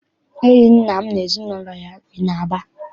Enyi nna m na ezinụlọ ya bi n'Aba.